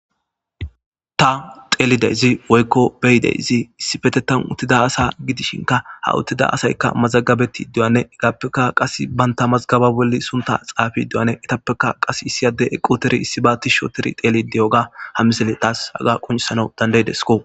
ta xeelideyzi woykko beyideyzi issifetetan uttida asa gidishinka ha uttida asaykka mazagabeti dduwane higappeka qas baynta mazgaba bolli sunta xaafi duwane itappeka qas issiyade eqqoteri issi baatti shooteri xeeli deyoga hamisele taas haga quncsana dandayidesko